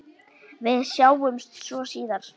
Við sjáumst svo síðar.